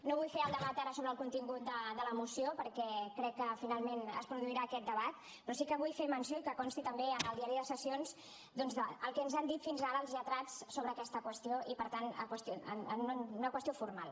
no vull fer ara el debat sobre el contingut de la moció perquè crec que finalment es produirà aquest debat però sí que vull fer menció i que consti també en el diari de sessions doncs el que ens han dit fins ara els lletrats sobre aquesta qüestió i per tant una qüestió formal